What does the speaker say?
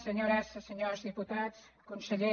senyores i senyors diputats conseller